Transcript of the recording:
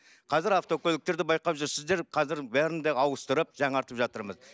қазір автокөліктерді байқап жүрсіздер қазір бәрін де ауыстырып жаңартып жатырмыз